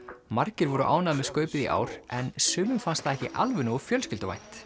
margir voru ánægðir með skaupið í ár en sumum fannst það ekki alveg nógu fjölskylduvænt